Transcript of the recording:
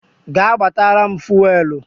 Gaa gbatara m Fuwelu!